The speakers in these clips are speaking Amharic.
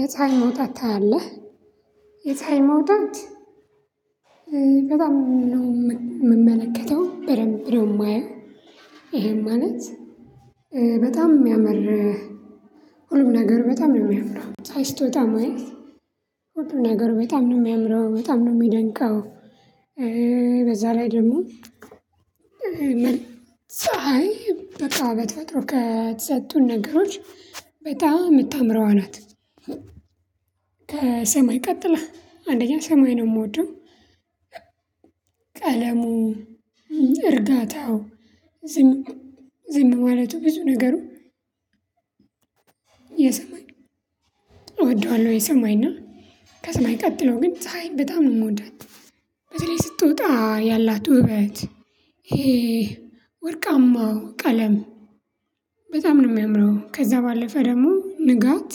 የፀሀይ መውጣት ታያለህ። የፀሀይ መውጣት። በጣም ነው የምመለከተው በደንብ ነው የማየው። ይሄን ማለት በጣም ሚያመር። ሁሉም ነገር በጣም ነው የሚያምረው ፀሀይ ስትወጣ ማየት። ሁሉም ነገር በጣም ነው የሚያምረው በጣም ነው የሚደንቀው። በዛ ላይ ደግሞ። ምን ፀሀይ በቃ በተፈጥሮ ከተሰጡን ነገሮች በጣም የምታምረዋ ናት። ከሰማይ ቀጥለህ አንደኛ ሰማይ ነው የምወደው። ቀለሙ እርጋታው ዝም ዝም ማለቱ ብዙ ነገሩ። የሰማይ እወደዋለሁ። የሰማይና ከሰማይ ቀጥለው ግን ፀሀይ በጣም ነው የምወዳት። በተለይ ስትወጣ ያላት ውበት ይሄ ወርቃማው ቀለም በጣም ነው የሚያምረው። ከዛ ባለፈ ደግሞ ንጋት።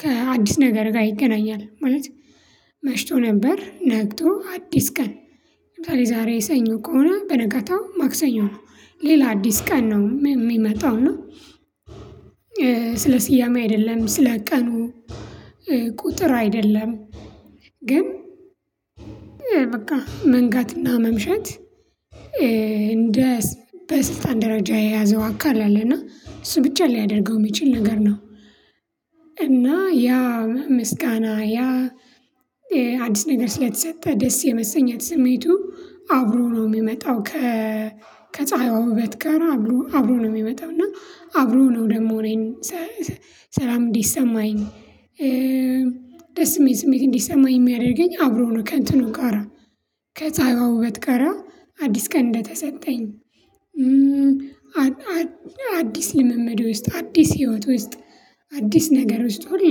ከአዲስ ነገር ጋር ይገናኛል ማለት። መሽቶ ነበር ነግቶ አዲስ ቀን ለዛሬ ሰኞ ከሆነ በነጋታው ማክሰኞ ነው ሌላ አዲስ ቀን ነው ሚመጣው ነው። ስለ ስያሜ አይደለም ስለ ቀኑ ቁጥር አይደለም። ግን በቃ መንጋትና መምሸት። በስልጣን ደረጃ የያዘው አካል አለና እሱ ብቻ ሊያደርገው ሚችል ነገር ነው። ያ ምስጋና ያ አዲስ ነገር ስለተሰጠህ ደስ የመሰኘት ስሜቱ አብሮ ነው ሚመጣው። ከ ከፀሀይዋ ውበት ጋር አብሮ ነው እና አብሮ ነው ደግሞ እኔን ሰላም እንዲሰማኝ። ደስ የሚል ስሜት እንዲሰማኝ የሚያደርገኝ አብሮ ነው ከእንትኑ ጋራ ከጸሃዮ ውበት ጋራ አዲስ ቀን እንደተሰጠኝ። አዲስ ልምምድ ውስጥ አዲስ ህይወት ውስጥ አዲስ ነገር ውስጥ ሁሌ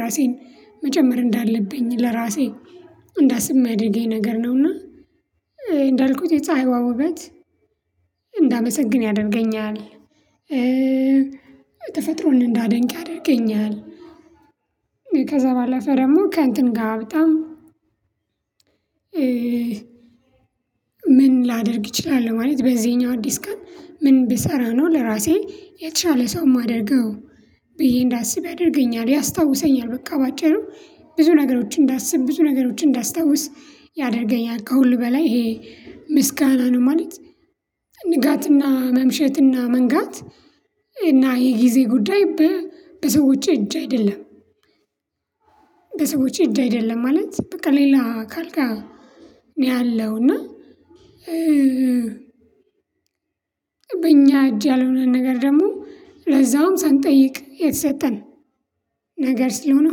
ራሴን መጀመር እንዳለብኝ ለራሴ እንዳስብ ሚያደርገኝ ነገር ነውና። እንዳልኩት የፀሀይዋ ውበት እንዳመሰግን ያደርገኛል። ተፈጥሮን እንዳደንቅ ያደርገኛል። ከዛ ባለፈ ደግሞ ከእንትን ጋር በጣም ምን ላደርግ ይችላል ማለት በዚህኛው አዲስ ቀን ምን ብሰራ ነው ለራሴ የተሻለ ሰው የማደርገው። ብዬ እንዳስብ ያደርገኛል ያስታውሰኛል በቃ በአጭሩ ብዙ ነገሮችን እንዳስብ ብዙ ነገሮችን እንዳስታውስ ያደርገኛል። ከሁሉ በላይ ይሄ ምስጋና ነው ማለት። ንጋትና መምሸትና መንጋት እና የጊዜ ጉዳይ በሰዎች እጅ አይደለም። በሰዎች እጅ አይደለም ማለት በቃ ሌላ አካል ነው። ያለው እና በእኛ እጅ ያልሆነ ነገር ደግሞ ለዛውም ሳንጠይቅ የተሰጠን። ነገር ስለሆነ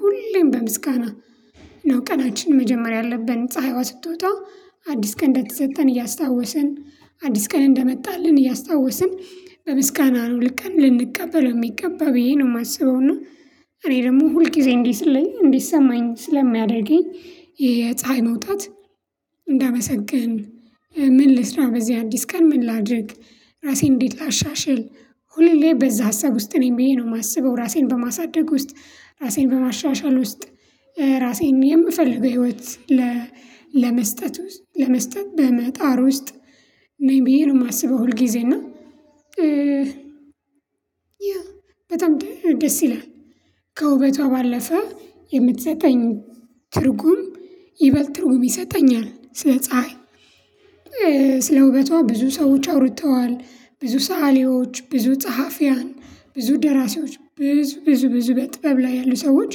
ሁሌም በምስጋና ነው ቀናችን መጀመሪያ ያለብን ፀሀይዋ ስትወጣ አዲስ ቀን እንደተሰጠን እያስታወስን አዲስ ቀን እንደመጣልን እያስታወስን በምስጋና ነው ይህን ቀን ልንቀበለው ሚገባው ብዬ ነው የማስበው። እና እኔ ደግሞ ሁል ጊዜ እንዴ ስለኝ እንዴ ሰማኝ ስለሚያደርገኝ የፀሀይ መውጣት። እንዳመሰግን ምን ልስራ በዚህ አዲስ ቀን ምን ላድርግ ራሴን እንዴት ላሻሽል ሁሌ በዛ ሀሳብ ውስጥ ነኝ ብዬ ነው የማስበው። ራሴን በማሳደግ ውስጥ ራሴን በማሻሻል ውስጥ ራሴን የምፈልገው ህይወት ለመስጠት ለመስጠት በመጣር ውስጥ ነኝ ብዬ ነው የማስበው። ሁልጊዜ እና ያ በጣም ደስ ይላል። ከውበቷ ባለፈ የምትሰጠኝ ትርጉም ይበልጥ ትርጉም ይሰጠኛል ስለ ፀሀይ። ስለ ውበቷ ብዙ ሰዎች አውርተዋል ብዙ ሰአሊዎች ብዙ ጸሐፊያን ብዙ ደራሲዎች ብዙ ብዙ ብዙ በጥበብ ላይ ያሉ ሰዎች።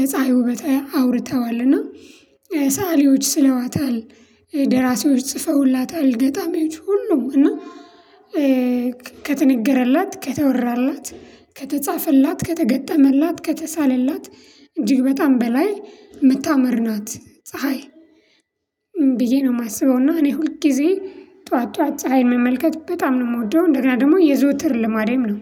የፀሀይ ውበታ አውርተዋል እና ሰአሊዎች ስለዋታል። ደራሲዎች ጽፈውላታል ገጣሚዎች ሁሉም እና ከተነገረላት ከተወራላት ከተጻፈላት ከተገጠመላት ከተሳለላት እጅግ በጣም በላይ ምታምር ናት ፀሀይ። ብዬ ነው ማስበው እና እኔ ሁል ጊዜ ጠዋት ጠዋት ፀሀይ መመልከት በጣም ነው የምወደው እንደገና ደግሞ የዘወትር ልማዴም ነው።